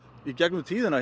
í gegnum tíðina